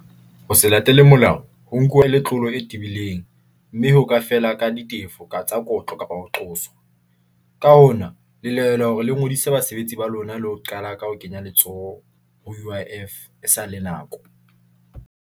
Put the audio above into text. Ho se latele molao ho nkuwa e le tlolo e tebileng mme ho ka feela ka ditefo ka tsa kotlo kapa ho qosa. Ka hona le lahlehelwa hore le ngodise basebetsi ba lona le ho qala ka ho kenya letsoho ho U_I_F e sa le nako.